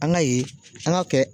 An ka ye an ga kɛ